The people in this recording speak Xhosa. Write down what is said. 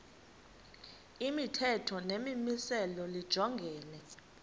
imithetho nemimiselo lijongene